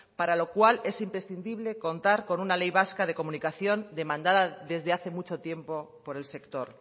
para lo cual es imprescindible contar con una ley vasca de comunicación demandada desde hace mucho tiempo por el sector